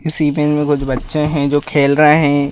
इस में कुछ बच्चे हैं जो खेल रहे हैं।